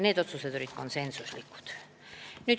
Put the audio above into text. Need otsused olid konsensuslikud.